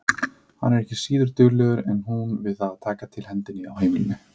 Hann er ekki síður duglegur en hún við að taka til hendi á heimilinu.